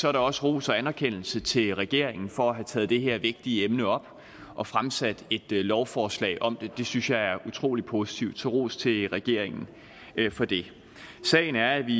er der også ros og anerkendelse til regeringen for at have taget det her vigtige emne op og fremsat et lovforslag om det det synes jeg er utrolig positivt så ros til regeringen for det sagen er at vi